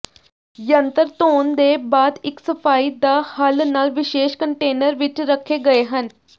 ਯੰਤਰ ਧੋਣ ਦੇ ਬਾਅਦ ਇੱਕ ਸਫਾਈ ਦਾ ਹੱਲ ਨਾਲ ਵਿਸ਼ੇਸ਼ ਕੰਟੇਨਰ ਵਿੱਚ ਰੱਖੇ ਗਏ ਹਨ